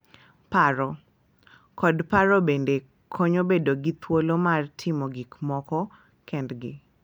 Paro, kod paro bende konyo bedo gi thuolo mar timo gik moko kendgi